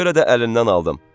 Ona görə də əlindən aldım.